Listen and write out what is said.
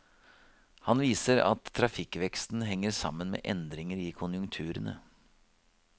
Han viser til at trafikkveksten henger sammen med endringer i konjunkturene.